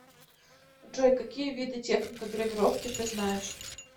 джой какие виды техника гравировки ты знаешь